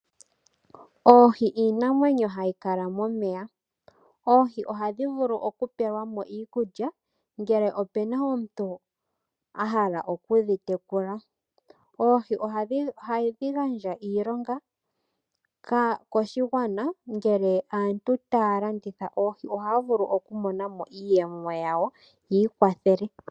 Oohi iinamwenyo hayi kala momeya. Oohi ohadhi vulu okupelwa mo iikulya, ngele opu na omuntu a hala okudhi tekula. Oohi ohadhi gandja iilonga koshigwana ngele aantu taye ya okulanditha oohi, ohaye ya vulu okumonamo iiyemo yawo yokwiiwathela.